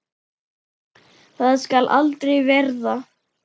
Það skal aldrei verða!